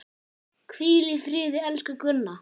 Hvíl í friði, elsku Gunna.